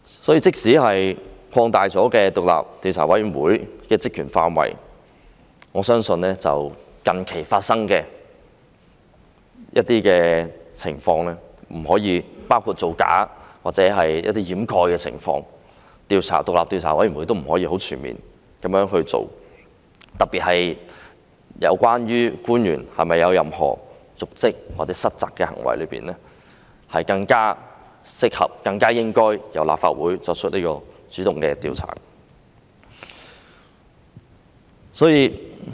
因此，即使擴大了獨立調查委員會的職權範圍，我相信近期發生的情況，包括造假或一些掩飾的情況，獨立調查委員會並不能很全面地進行調查，特別是在有關官員有否瀆職或失責的行為方面，是更適合、更應該由立法會主動進行調查。